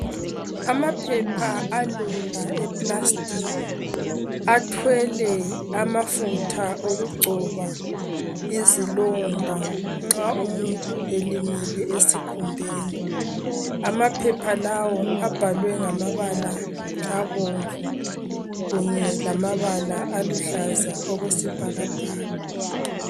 Amaphepha alula eplastiki athwele amafutha okugcoba izilonda nxa umuntu elimele esikhumbeni , amaphepha lawo abhalwe ngamabala abomvu kunye lamabala aluhlaza okwesibhakabhaka